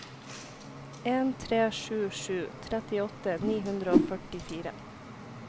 en tre sju sju trettiåtte ni hundre og førtifire